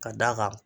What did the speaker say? Ka d'a kan